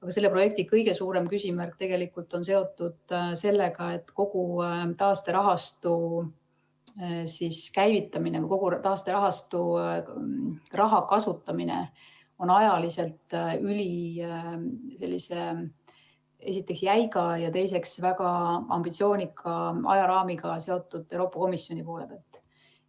Aga selle projekti kõige suurem küsimärk on seotud sellega, et kogu taasterahastu käivitamine või kogu taasterahastu raha kasutamine on ajaliselt seotud esiteks ülijäiga ja teiseks väga ambitsioonika ajaraamiga Euroopa Komisjoni poole pealt.